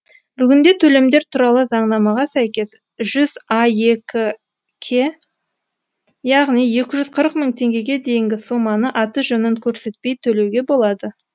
бүгінде төлемдер туралы заңнамаға сәйкес жүз аек ке яғни екі жүз қырық мың теңгеге дейінгі соманы аты жөнін көрсетпей төлеуге болады